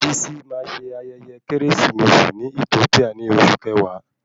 Bisi máa ṣe ayẹyẹ keresimesi ní Ethiopia ni oṣù kẹwàá